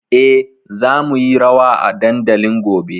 E, za mu yi rawa a dandalin gobe.